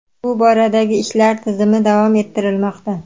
Bu boradagi ishlar tizimli davom ettirilmoqda.